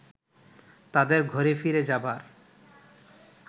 তাদের ঘরে ফিরে যাবার